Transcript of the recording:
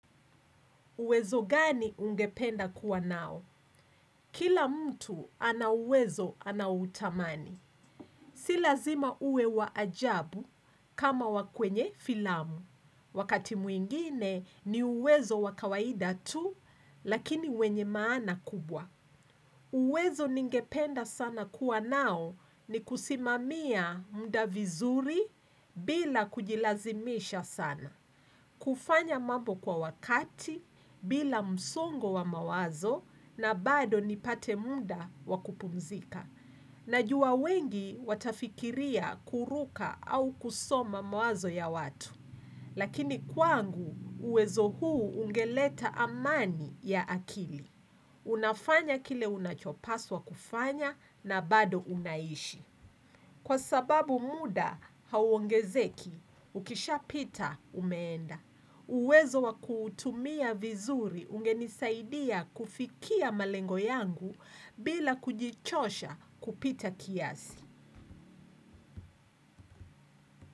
Uwezo gani ungependa kuwa nao? Kila mtu ana uwezo anaoutamani. Si lazima uwe wa ajabu kama wa kwenye filamu. Wakati mwingine ni uwezo wa kawaida tu lakini wenye maana kubwa. Uwezo ningependa sana kuwa nao ni kusimamia muda vizuri bila kujilazimisha sana. Kufanya mambo kwa wakati, bila msongo wa mawazo na bado nipate muda wa kupumzika. Najua wengi watafikiria kuruka au kusoma mawazo ya watu. Lakini kwangu uwezo huu ungeleta amani ya akili. Unafanya kile unachopaswa kufanya na bado unaishi. Kwa sababu muda hauongezeki, ukishapita umeenda. Uwezo wa kuutumia vizuri ungenisaidia kufikia malengo yangu bila kujichosha kupita kiasi.